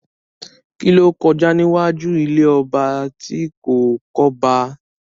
Kí ló kọjá níwájú ilé ọba tí kò kọ́ba?